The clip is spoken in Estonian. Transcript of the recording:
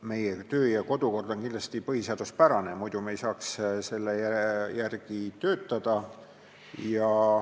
Meie kodu- ja töökord on kindlasti põhiseaduspärane, muidu ei saaks me selle järgi töötada.